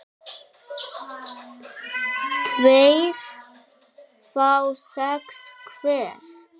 tveir fái sex hver